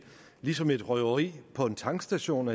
ligesom et røveri på en tankstation